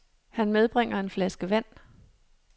Han medbringer en flaske vand.